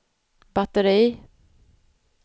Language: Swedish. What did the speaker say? batteri